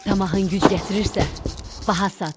Tamahın güc gətirirsə, baha sat.